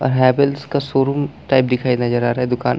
हैवलस का showroom type दिखाई नजर आ रहा है दुकान --